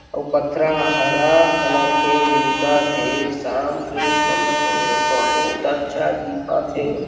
अऊ पथरा ह हरा कलर के दिखा थे शाम के समय ये बहुत अच्छा दिखा थे।